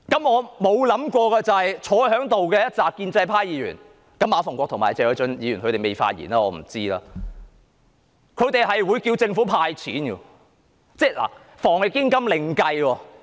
我沒想過在席的建制派議員——當然馬逢國議員和謝偉俊議員還未發言，我不知道他們的取態——竟然要求政府"派錢"。